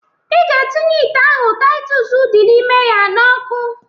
Ị ga-etinye ite ahụ Taịtọs dị n'ime ya n'ọkụ.